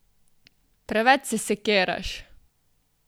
Preveč se sekiraš!